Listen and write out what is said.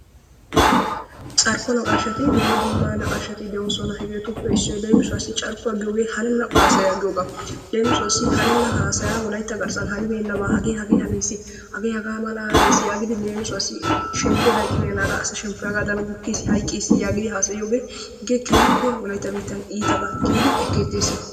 Carkko naqqashati dumma dumma naqqashshati deosona. hegetuppe issoy leemissuwasi carkkuwaa giyoge hanena haasaya giyogaa. Leemisuwaasi hanena haasayaa wolaytta garssan hanibenaba hage hage haniisi hage haga mala hanis yagidi leemisuwaasi shemmppoy hayqqibenaga asa shemmppoy hagadan gukkis, hayqqiis yagidi haasayiyoge gn keehippe wolaytta biitan iitaba gidi ekketees.